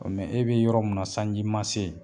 e be yɔrɔ min na sanji ma se yen